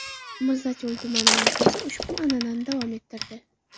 Mirzacho‘l tumani markazi ushbu an’anani davom ettirdi.